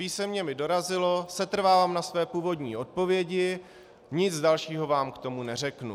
Písemně mi dorazilo: Setrvávám na své původní odpovědi, nic dalšího vám k tomu neřeknu.